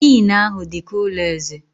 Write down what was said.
Inn ahụ dị ka ụlọ eze.